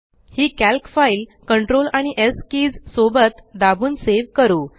ही calc file CTRL आणि S keys सोबत दाबून सेव करू